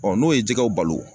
n'o ye jɛgɛw balo